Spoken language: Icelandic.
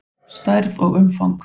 Stærð og umfang